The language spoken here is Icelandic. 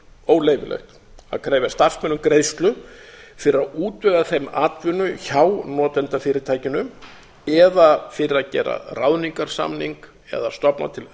óleyfilegt að krefja starfsmenn um greiðslu fyrir að útvega þeim atvinnu hjá notendafyrirtækinu eða fyrir að gera ráðningarsamning eða stofna til